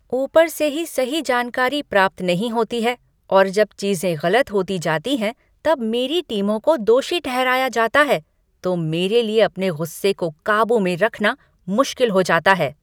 ऊपर से ही सही जानकारी प्राप्त नहीं होती है और जब चीज़ें गलत होती जाती हैं तब मेरी टीमों को दोषी ठहराया जाता है तो मेरे लिए अपने गुस्से को काबू में रखना मुश्किल हो जाता है।